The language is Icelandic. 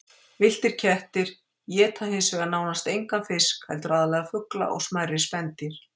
Villtir kettir éta hins vegar nánast engan fisk heldur aðallega fugla og smærri spendýr.